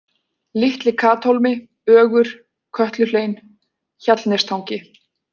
Litli-Kathólmi, Ögur, Kötluhlein, Hjallnestangi